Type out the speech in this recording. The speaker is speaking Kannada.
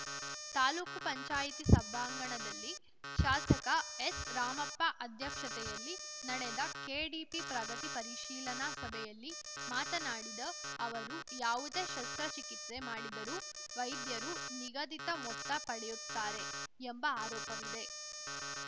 ತಾಲೂಕು ಪಂಚಾಯತಿ ಸಭಾಂಗಣದಲ್ಲಿ ಶಾಸಕ ಎಸ್‌ರಾಮಪ್ಪ ಅಧ್ಯಕ್ಷತೆಯಲ್ಲಿ ನಡೆದ ಕೆಡಿಪಿ ಪ್ರಗತಿ ಪರಿಶೀಲನಾ ಸಭೆಯಲ್ಲಿ ಮಾತನಾಡಿದ ಅವರು ಯಾವುದೇ ಶಸ್ತ್ರ ಚಿಕಿತ್ಸೆ ಮಾಡಿದರೂ ವೈದ್ಯರು ನಿಗದಿತ ಮೊತ್ತ ಪಡೆಯುತ್ತಾರೆ ಎಂಬ ಆರೋಪವಿದೆ